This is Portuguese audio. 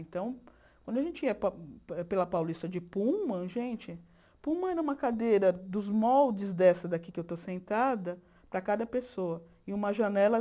Então, quando a gente ia pela Paulista de Puma, gente, Puma era uma cadeira dos moldes dessa daqui que eu estou sentada, para cada pessoa, e uma janela.